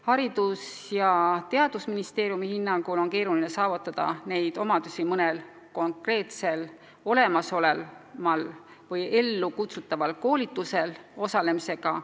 Haridus- ja Teadusministeeriumi hinnangul on keeruline saavutada neid omadusi mõnel konkreetsel olemasoleval või ellukutsutaval koolitusel osalemisega.